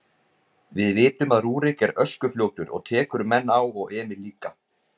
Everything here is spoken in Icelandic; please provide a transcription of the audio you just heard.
Við vitum að Rúrik er öskufljótur og tekur menn á og Emil líka.